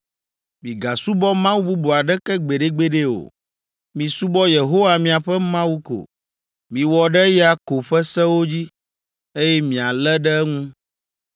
Migasubɔ mawu bubu aɖeke gbeɖegbeɖe o. Misubɔ Yehowa miaƒe Mawu ko. Miwɔ ɖe eya ko ƒe sewo dzi, eye mialé ɖe eŋu.